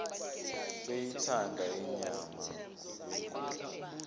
beyithanda inyama yenkukhu